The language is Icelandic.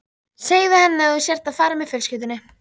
Segðu henni að þú sért að fara með fjölskyldunni